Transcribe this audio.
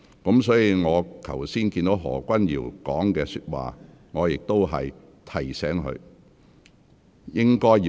我剛才聽到何君堯議員的發言，我已提醒他。